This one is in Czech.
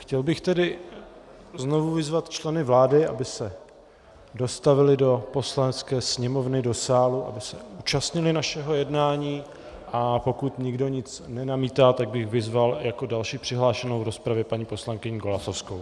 Chtěl bych tedy znovu vyzvat členy vlády, aby se dostavili do Poslanecké sněmovny, do sálu, aby se účastnili našeho jednání, a pokud nikdo nic nenamítá, tak bych vyzval jako další přihlášenou v rozpravě paní poslankyni Golasowskou.